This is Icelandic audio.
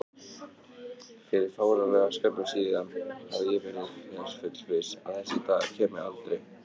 Fyrir fáránlega skömmu síðan hafði ég verið þess fullviss að þessi dagur kæmi aldrei.